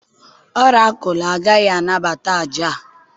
ọrakụlụ agaghị anabata àjà a